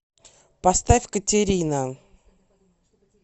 поставь катерина